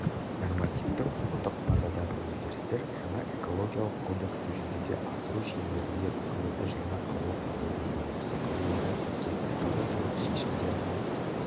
нормативтік-құқықтық базадағы өзгерістер жаңа экологиялық кодексті жүзеге асыру шеңберінде үкіметі жаңа қаулы қабылдады осы қаулыға сәйкес экологиялық шешімдер мен